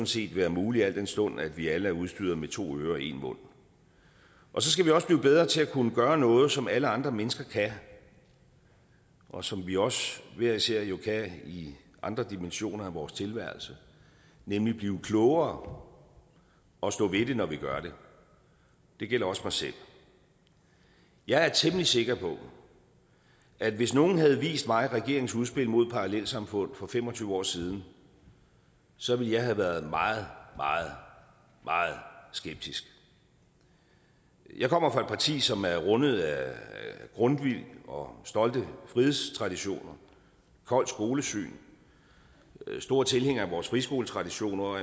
set være muligt al den stund at vi alle er udstyret med to ører og en mund så skal vi også blive bedre til at kunne gøre noget som alle andre mennesker kan og som vi også hver især jo kan i andre dimensioner af vores tilværelse nemlig blive klogere og stå ved det når vi gør det det gælder også mig selv jeg er temmelig sikker på at hvis nogen havde vist mig regeringens udspil mod parallelsamfund for fem og tyve år siden så ville jeg have været meget meget meget skeptisk jeg kommer fra et parti som er rundet af grundtvig og stolte frihedstraditioner af kolds skolesyn er store tilhængere af vores friskoletraditioner og